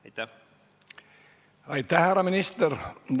Aitäh, härra minister!